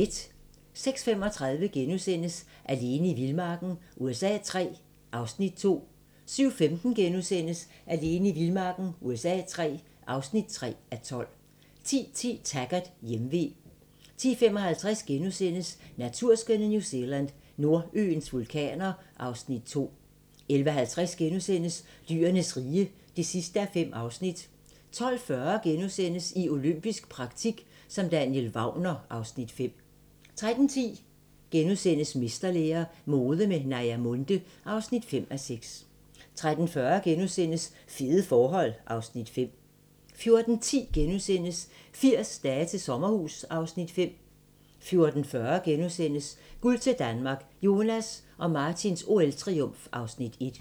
06:35: Alene i vildmarken USA III (2:12)* 07:15: Alene i vildmarken USA III (3:12)* 10:10: Taggart: Hjemve 10:55: Naturskønne New Zealand: Nordøens vulkaner (Afs. 2)* 11:50: Dyrenes rige (5:5)* 12:40: I olympisk praktik som Daniel Wagner (Afs. 5)* 13:10: Mesterlære - mode med Naja Munthe (5:6)* 13:40: Fede forhold (Afs. 5)* 14:10: 80 dage til sommerhus (Afs. 5)* 14:40: Guld til Danmark - Jonas og Martins OL-triumf (Afs. 1)*